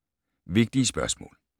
Vigtige spørgsmål